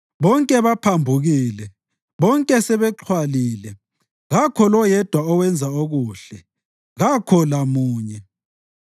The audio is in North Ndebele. Bonke baphambukile, bonke sebexhwalile; kakho loyedwa owenza okuhle, kakho lamunye.